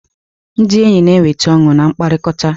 Ndị enyi na-eweta ọṅụ na mkpakọrịta.